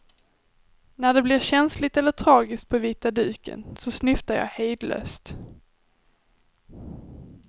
När det blir känsligt eller tragiskt på vita duken, så snyftar jag hejdlöst.